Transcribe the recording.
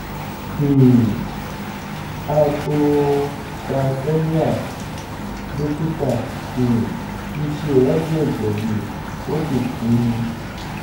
um hypocalcemia dókítà um mi ṣe ìwádìí ẹ̀jẹ̀ mi ó sì pe mi